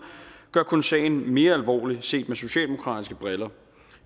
gør kun sagen mere alvorlig set med socialdemokratiske briller